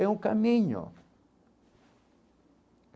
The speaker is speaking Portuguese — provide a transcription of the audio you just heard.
É um caminho.